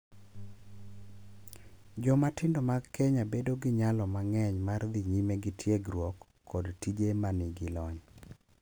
Joma tindo mag Kenya bedo gi nyalo mang’eny mar dhi nyime gi tiegruok kod tije ma nigi lony,